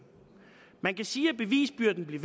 man kan sige at bevisbyrden bliver